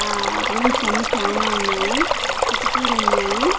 ఆ రూమ్స్ అన్ని చానా ఉన్నాయి కిటికీలున్నాయి.